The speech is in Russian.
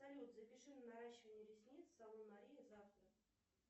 салют запиши на наращивание ресниц в салон мария завтра